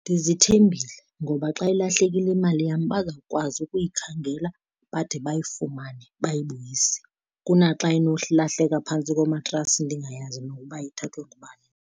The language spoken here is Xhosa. Ndizithembile ngoba xa ilahlekile imali yam bazawukwazi ukuyikhangela bade bayifumane bayibuyise, kunaxa inokulahleka phantsi komatrasi ndingayazi nokuba ithathwe ngubani.